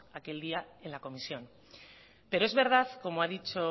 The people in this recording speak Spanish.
aquel día en la comisión pero es verdad como ha dicho